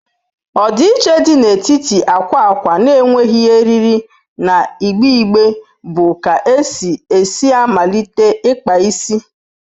Ọdịiche dị n'etiti akwa akwa na-enweghị eriri na igbe igbe bụ ka esi esi malite ikpa isi.